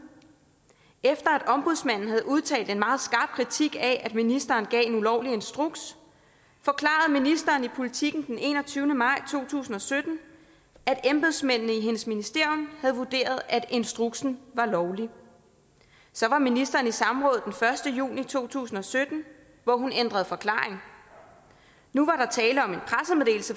efter at ombudsmanden havde udtalt en meget skarp kritik af at ministeren gav en ulovlig instruks forklarede ministeren i politiken den enogtyvende maj to tusind og sytten at embedsmændene i hendes ministerium havde vurderet at instruksen var lovlig så var ministeren i samråd den første juni to tusind og sytten hvor hun ændrede forklaring nu